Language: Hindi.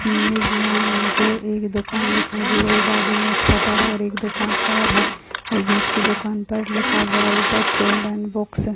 इमेज में मुझे एक दुकान दिखाई दे रही है बाजु में एक शटर है और एक दुकान और है और बिच की दुकान पर लिखा हुआ है ऊपर चिल्ड्रन बुक्स ।